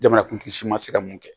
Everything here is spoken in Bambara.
Jamanakuntigi si ma se ka mun kɛ